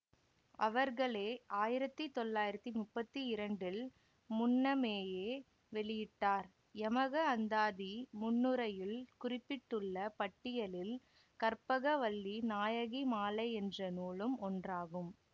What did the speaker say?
அவர்களே ஆயிரத்தி தொள்ளாயிரத்தி முப்பத்தி இரண்டில் முன்னமேயே வெளியிட்டார் யமக அந்தாதி முன்னுரையுள் குறிப்பிட்டுள்ள பட்டியலில் கற்பகவல்லி நாயகி மாலை என்ற நூலும் ஒன்றாகும்